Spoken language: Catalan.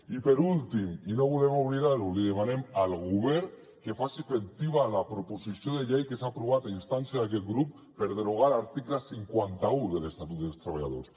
i per últim i no volem oblidar ho li demanem al govern que faci efectiva la proposició de llei que s’ha aprovat a instància d’aquest grup per derogar l’article cinquanta un de l’estatut dels treballadors